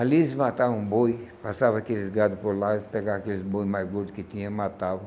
Ali eles matavam boi, passavam aqueles gados por lá, pegavam aqueles boi mais gordos que tinham e matavam.